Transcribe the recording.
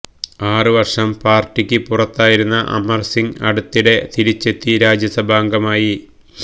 ആറ് വര്ഷം പാര്ട്ടിക്ക് പുറത്തായിരുന്ന അമര് സിംഗ് അടുത്തിടെ തിരിച്ചെത്തി രാജ്യസഭാംഗമായി